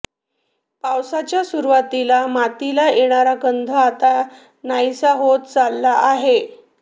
पावसाच्या सुरुवातीला मातीला येणारा गंध आता नाहीसा होत चालला आहे